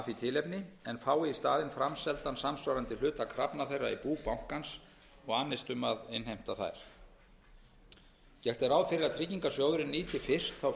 því tilefni en fái í staðinn framseldan samsvarandi hluta krafna þeirra í bú bankans og annist um að innheimta þær gert er ráð fyrir að tryggingarsjóðurinn nýti fyrst þá